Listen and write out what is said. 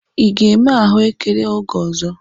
Ị ga-eme ahụekere oge ọzọ?